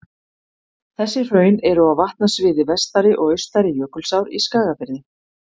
Þessi hraun eru á vatnasviði Vestari- og Austari-Jökulsár í Skagafirði.